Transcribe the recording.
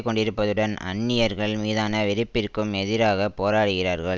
கொண்டிருப்பதுடன் அந்நியர்கள் மீதான வெறுப்பிற்கும் எதிராக போராடுகிறார்கள்